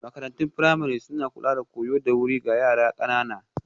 Makarantun firamare suna kula da koyo da wuri ga yara ƙanana